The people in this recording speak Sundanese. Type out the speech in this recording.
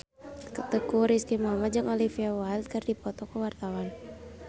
Teuku Rizky Muhammad jeung Olivia Wilde keur dipoto ku wartawan